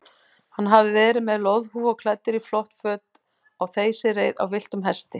Hann hafði verið með loðhúfu og klæddur í flott föt á þeysireið á villtum hesti.